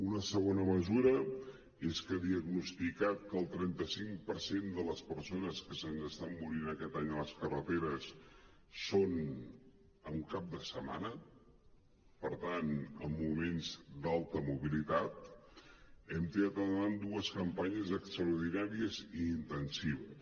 una segona mesura és que diagnosticat que el trenta cinc per cent de les persones que se’ns estan morint aquest any a les carreteres són en cap de setmana per tant en moments d’alta mobilitat hem tirar endavant dues campanyes extraordinàries i intensives